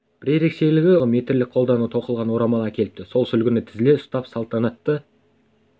бір ерекшелігі украиндықтар ашылуға арнайы ұзындығы метрлік қолдан тоқылған орамал әкеліпті сол сүлгіні тізіле ұстап салтанатты